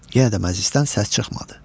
Yenə də məclisdən səs çıxmadı.